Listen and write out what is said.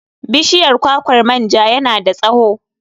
Bishiyar kwakwar manja yana da tsawo.